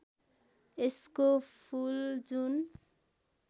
यसको फुल जुन